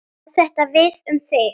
Á þetta við um þig?